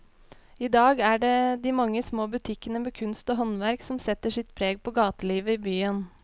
I dag er det de mange små butikkene med kunst og håndverk som setter sitt preg på gatelivet i byen.